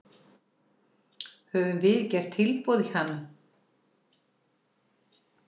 Höfum við gert tilboð í hann?